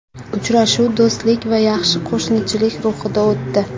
Uchrashuv do‘stlik va yaxshi qo‘shnichilik ruhida o‘tdi.